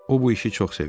O bu işi çox sevir.